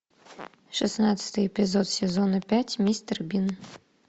шестнадцатый эпизод сезона пять мистер бин